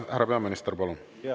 Härra peaminister, palun!